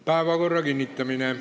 Päevakorra kinnitamine.